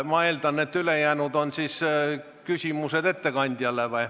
Ma eeldan, et ülejäänud on siis küsimused ettekandjale.